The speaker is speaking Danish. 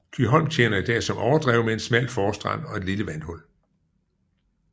Kyholm tjener i dag som overdrev med en smal forstrand og et lille vandhul